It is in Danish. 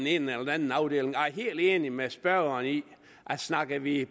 ene eller den anden afdeling jeg er helt enig med spørgeren i at snakker vi